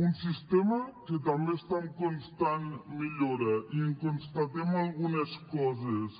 un sistema que també està en constant millora i en constatem algunes coses